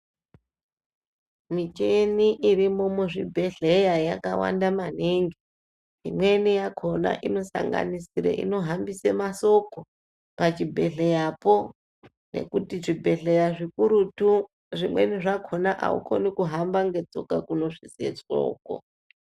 Micheni iri mu zvibhedhleya yaka wanda maningi imweni yakona ino sanganisire ino hambise masoko pa chi bhedhleya po nekuti zvibhedhlera zvikurutu zvimweni zvakona aukoni kuhamba ne tsoka kuno svitse shoko.